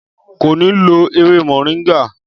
Kò ní lo ewé moringa